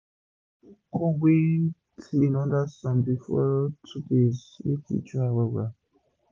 u must put corn wey clean under sun for 2 full days make e dry well well